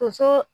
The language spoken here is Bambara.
Tonso